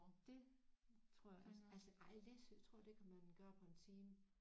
Det tror jeg altså altså ej Læsø tror jeg det kan man gøre på en time